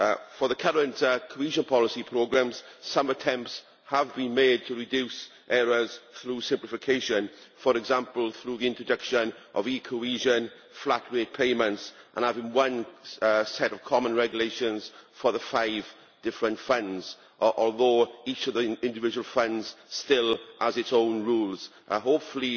For the current cohesion policy programmes, some attempts have been made to reduce errors through simplification, for example through the introduction of cohesion flat rate payments and having one set of common regulations for the five different funds, although each of the individual funds still has its own rules. Hopefully